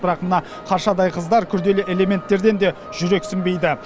бірақ мына қаршадай қыздар күрделі элементтерден де жүрексінбейді